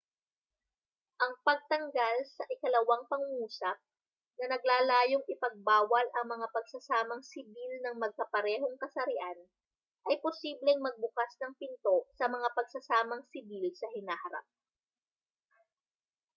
ang pagtanggal sa ikalawang pangungusap na naglalayong ipagbawal ang mga pagsasamang sibil ng magkaparehong kasarian ay posibleng magbukas ng pinto sa mga pagsasamang sibil sa hinaharap